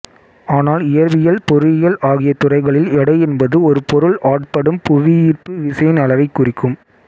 ஆனால் இயற்பியல் பொறியியல் ஆகிய துறைகளில் எடை என்பது ஒரு பொருள் ஆட்படும் புவியீர்ப்பு விசையின் அளவைக் குறிக்கும்